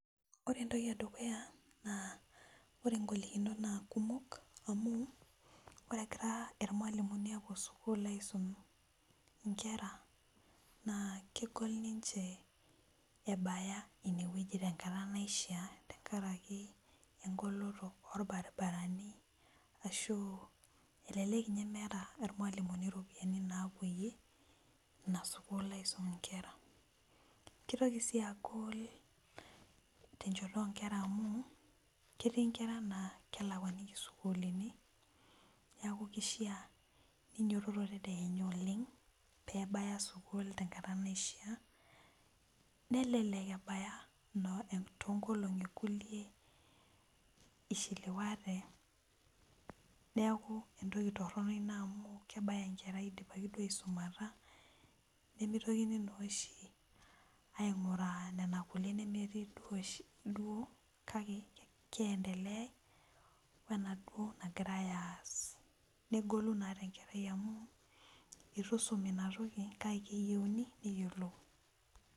Ore entoki edukuya ore ngolikinot na kumok amu ore egira irmalimulini apuo sukul aisum nkera na kegol ninche ebaya tenkata naisha tenkaraki engoloto orbaribarani ashubelekek ninye meeta irmalimulini iropiyiani napoyie inasukul aisumie nkera kitoki sii aku tenchoto onkera amu ketii nkera na kelakwakikini sukuulini neaku kishaa ninyototo tedekenya oleng nebaya tenkata naisha, nelelek tonkolongi kulie ishelewate neaku tonkolongi kulie kebaya enkerai idipa aishelewa nimitokini na ainguraa nona kulie oshi nemetii negolu na tenkerai amu itusumi inatoki kake keyieuni neyiolou.